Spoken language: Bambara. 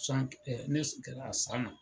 ɛɛ ne a san na.